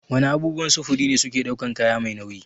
Wana abubuwan sufuri ne suke ɗaukan kaya mai nauyi?